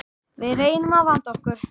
Við reynum að vanda okkur.